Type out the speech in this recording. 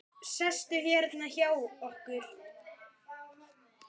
Sestu hérna hjá okkur!